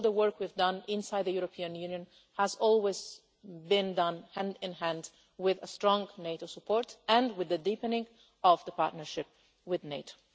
All the work we've done inside the European Union has always been done hand in hand with strong NATO support and with the deepening of the partnership with NATO.